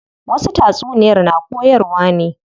Wasu tatsuniyar na koyarwa ne.